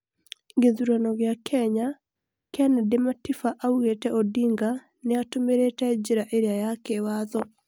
Gĩthurano gĩa Kenya: Kennedy Matiba augĩte Odinga nĩatumĩrĩte njĩra ĩria ya kĩwatho